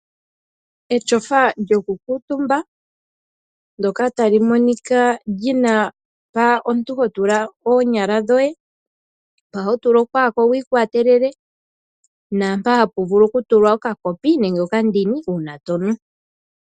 Etyofa lyokukuutumba ndoka tali monika lyina mpa omuntu hotula oonyala dhoye mpa hotula okooko wiikwatelele naampa hapuvulu okutula okakopi koye uuna tonu.